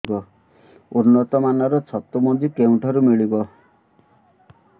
ଉନ୍ନତ ମାନର ଛତୁ ମଞ୍ଜି କେଉଁ ଠାରୁ ମିଳିବ